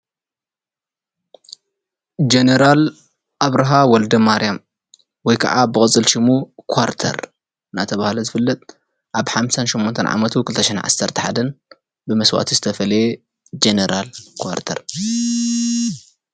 ጀነራል ኣብርሃ ወልደማርያም ወይ ከዓ ብቕፅል ሽሙ ኳርተር እናተብሃለ ዝፍለጥ ኣብ 58 ዓመቱ 2011 ብመስዋእቲ ዝተፈለየ ጀነራል ኳርተር።